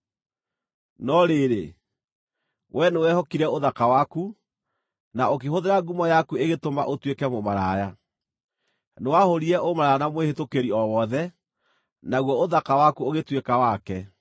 “ ‘No rĩrĩ, wee nĩwehokire ũthaka waku, na ũkĩhũthĩra ngumo yaku ĩgĩtũma ũtuĩke mũmaraya. Nĩwahũũrire ũmaraya na mwĩhĩtũkĩri o wothe, naguo ũthaka waku ũgĩtuĩka wake.